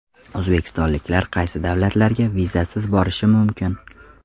O‘zbekistonliklar qaysi davlatlarga vizasiz borishi mumkin?.